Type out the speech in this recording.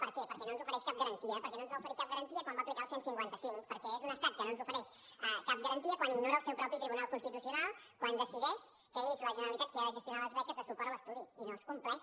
per què perquè no ens ofereix cap garantia perquè no ens va oferir cap garantia quan va aplicar el cent i cinquanta cinc perquè és un estat que no ens ofereix cap garantia quan ignora el seu propi tribunal constitucional quan decideix que és la generalitat qui ha de gestionar les beques de suport a l’estudi i no es compleix